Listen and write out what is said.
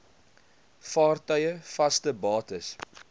vaartuie vaste bates